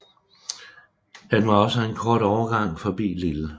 Han var også en kort overgang forbi Lille